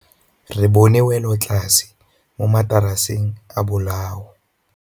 Re bone wêlôtlasê mo mataraseng a bolaô.